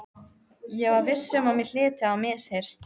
Ég var viss um að mér hlyti að hafa misheyrst.